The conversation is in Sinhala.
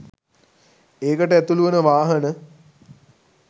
ඒකට ඇතුළු වන වාහන.